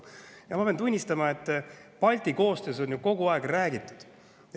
Ja ma pean tunnistama, et Balti koostööst on ju kogu aeg räägitud.